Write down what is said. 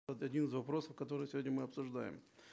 вот один из вопросов которые сегодня мы обсуждаем